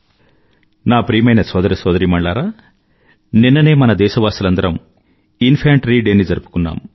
నా ప్రియమైన సోదర సోదరీమణులారా నిన్ననే మన దేశవాసులందరమూ ఇన్ఫాంట్రీ డే జరుపుకున్నాం